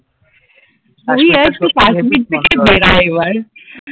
তুই এক, তুই কাশ্মীর থেকে বেরা এবার